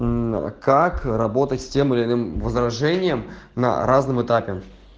как работать с тем или иным возражением на разном этапе